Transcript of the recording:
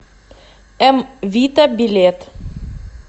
м вита билет